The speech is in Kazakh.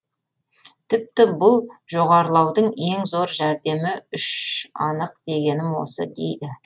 тіпті бұл жоғарылаудың ең зор жәрдемі үш анық дегенім осы дейді